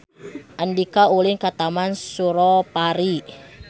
Andika ulin ka Taman Suropari